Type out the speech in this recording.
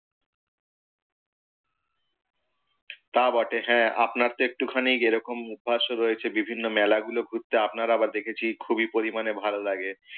তা বটে। হ্যাঁ আপনার তো একটু খানি এই রকম অভ্যাস ও রয়েছে বিভিন্ন মেলাগুলো ঘুরতে আপনার আবার খুবই পরিমাণে ভালো লাগে।